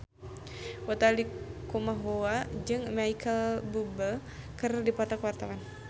Utha Likumahua jeung Micheal Bubble keur dipoto ku wartawan